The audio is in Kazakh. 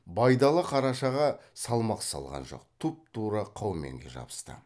байдалы қарашаға салмақ салған жоқ тұп тура қауменге жабысты